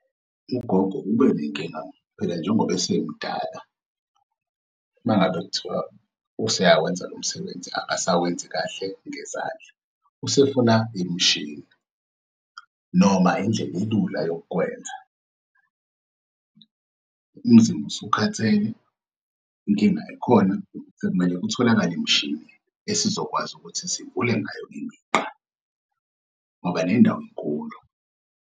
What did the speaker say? Ugogo ube nenkinga phela njengoba esemdala. Uma ngabe kuthiwa useyawenza lo msebenzi akasawenzi kahle ngezandla, usefuna imishini noma indlela ilula yokukwenza. Umzimba usukhathele, inkinga ekhona, sekumele kutholakale imishini esizokwazi ukuthi sivule ngayo imigqa ngoba nendawo inkulu.